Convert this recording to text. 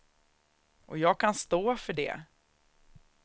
Och jag kan stå för det.